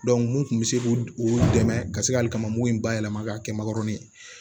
mun kun bɛ se k'u u dɛmɛ ka se hali ka n'u ba yɛlɛma k'a kɛ makɔrɔni ye